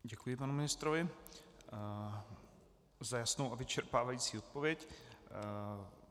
Děkuji panu ministrovi za jasnou a vyčerpávající odpověď.